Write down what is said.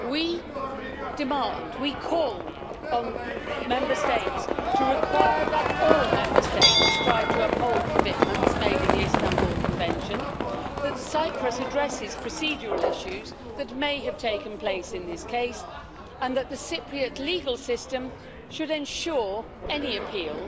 We demand, we call on Member States to require that all Member States strive to uphold commitments made in the Istanbul Convention, that Cyprus addresses procedural issues that may have taken place in this case, and that the Cypriot legal system should ensure any appeal